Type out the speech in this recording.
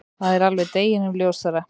Það er alveg deginum ljósara.